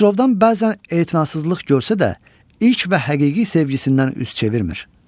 Xosrovdan bəzən etinasızlıq görsə də, ilk və həqiqi sevgisindən üz çevirmir.